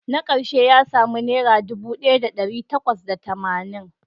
Na karshe ya samu naira dubu daya da dari takwas da tamanin